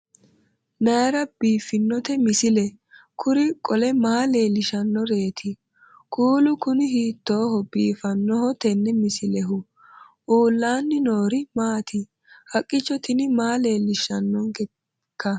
mayra biiffinote misile? kuri qole maa leellishannoreeti? kuulu kuni hiittooho biifannoho tenne misilehu? uullaanni noori maati? haqqicho tini maa leellishshannoteikka